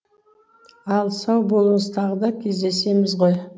ал сау болыңыз тағы да кездесеміз ғой